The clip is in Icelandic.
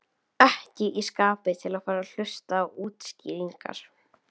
Ekki í skapi til að fara að hlusta á útskýringar.